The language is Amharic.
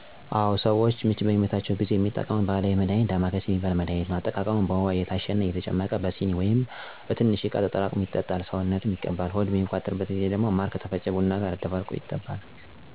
አወ፦ ሰዎች ምች በሚመታቸው ጊዜ የሚጠቀሙት ባህላዊ መድሃኒት ዳማካሲ ምትባል መድሃኒትን ነው። አጠቃቀሙም በውሃ እየታሸ ይጨመቅና በስኒ ወይም በሆነ ትንሽ እቃ ተጠራቅሞ ይጣል ሰውነትም ይቀባል። ሆድ በሚቆርጥበተ ጊዜ ደግሞ ማር ከተፈጨ ቡና ጋር አደባልቆ ተለውሶ ይበላል። ብጉንጅ ሚባል ቁስል ሢወጣባቸው ደግሞ ጥሬ ባቄላውን ፈጭቶ ከቁስሉ ላይ አድርጎ በጨርቅ መሰሠር የመሳሠሉ ባህላዊ መድሃኒቶች አሉ።